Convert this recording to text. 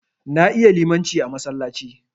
Na iya limaci a masallaci.